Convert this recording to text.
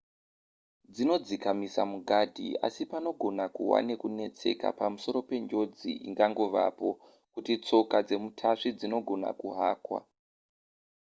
dzinodzikamisa mugadhi asi panogona kuva nekunetseka pamusoro penjodzi ingangovapo kuti tsoka dzemutasvi dzinogona kuhakwa